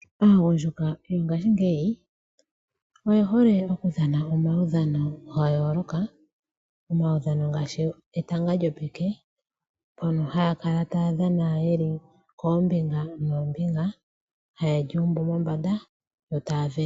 Aagundjuka yongaashingeyi oye hole okudhana omaudhano ga yooloka ngaashi etanga lyopeke, mono haya kala taya dhana yeli koombinga etanga taye lyuumbu mombanda yo taye lihakele.